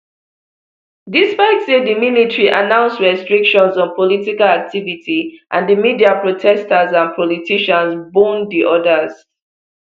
despite say di military announce restrictions on political activity and di media protesters and politicians bone di orders